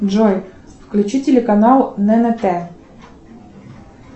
джой включи телеканал ннт